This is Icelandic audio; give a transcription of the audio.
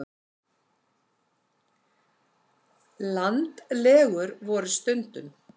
Landlegur voru stundum.